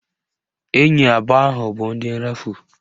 Enyi abụọ ahụ bụ ndị nrafu